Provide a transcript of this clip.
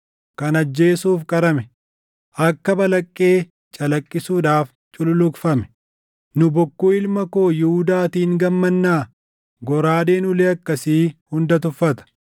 kan ajjeesuuf qarame, akka balaqqee calaqqisuudhaaf cululuqfame! “ ‘Nu bokkuu ilma koo Yihuudaatiin gammannaa? Goraadeen ulee akkasii hunda tuffata.